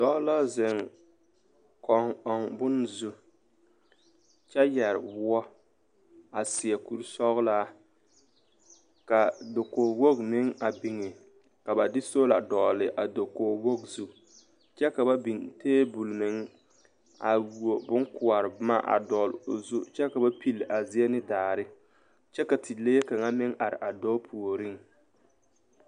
Dɔɔ la ziŋ kɔŋ ɔŋ bon zu kyɛ yɛre woɔɔ a seɛ kuri sɔglaa ka dakoge woge meŋ biŋ ka ba de soola a dɔgle a dakoge woge zu kyɛ ka ba biŋ tabol meŋ a wuobonkoɔre boma a dɔgle o zu kyɛ ka ba pile a zie ne daare kyɛ ka tilee kaŋa meŋ are a dɔɔ meŋpuoriŋ.